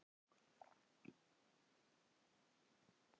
Myndi ég starfa í þýsku deildinni?